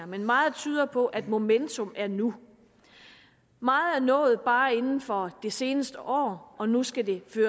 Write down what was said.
men meget tyder på at momentum er nu meget er nået bare inden for det seneste år og nu skal det